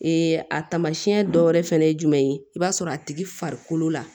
a taamasiyɛn dɔ wɛrɛ fɛnɛ ye jumɛn ye i b'a sɔrɔ a tigi farikolo la